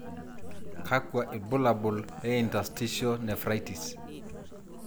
Kakwa ibulabul interstitial nephritis?